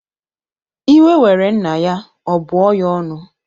Iwe were nna ya, ọ bụọ ya ọnụ